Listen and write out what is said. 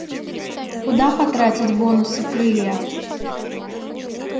куда потратить бонусы крылья